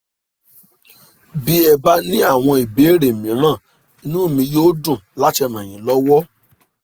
bí ẹ bá ní àwọn ìbéèrè míràn inú mi yóò dùn láti ràn yín lọ́wọ́"